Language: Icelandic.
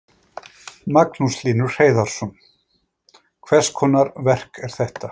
Magnús Hlynur Hreiðarsson: Hvers konar verk er þetta?